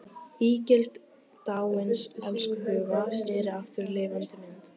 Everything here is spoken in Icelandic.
Ígildi dáins elskhuga sneri aftur í lifandi mynd.